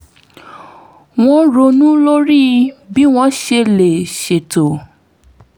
wọ́n ronú lórí bí wọ́n ṣe lè ṣètò